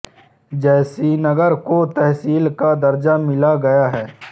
जैसीनगर को तहसील का दर्जा मिल गया है